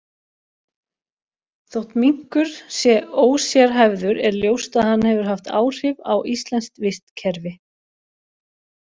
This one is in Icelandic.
Þótt minkur sé ósérhæfður er ljóst að hann hefur haft áhrif á íslenskt vistkerfi.